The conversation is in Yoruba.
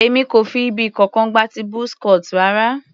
Èmi kò fi ibì kankan gba ti buzz cut rara.